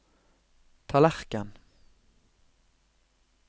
tallerken